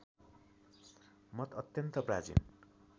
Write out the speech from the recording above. मत अत्यन्त प्राचीन